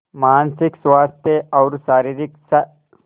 मानसिक स्वास्थ्य और शारीरिक स्